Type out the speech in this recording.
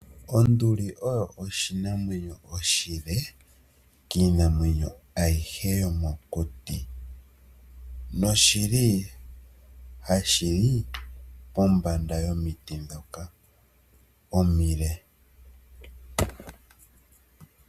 Onduli oyo oshinamwenyo oshile kiinamwenyo ayihe yomokuti, oshili ha shi li pombanda yomiti dhoka omile.